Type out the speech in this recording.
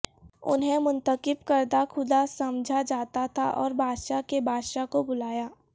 انہیں منتخب کردہ خدا سمجھا جاتا تھا اور بادشاہ کے بادشاہ کو بلایا